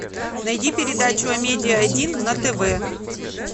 найди передачу амедиа один на тв